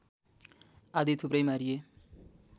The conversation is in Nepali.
आदि थुप्रै मारिए